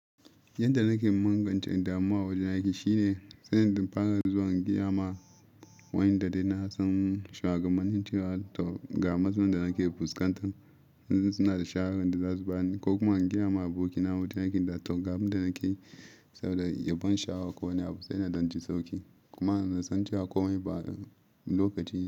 Yanda nake mangancen damuwa wajen aiki shine, sai in fara zuwa in gaya ma wanda dai na san sha gabanin cewa to ga matsalan da nake fuskantar. Wasu suna da shawaran da za su bani ko kuma in gaya ma abokina wajen aiki na to ga abin da nake saboda yabon shagon ko ne a fusai na don jin sauƙi. Kuma na san cewa komai ba lokaci ne.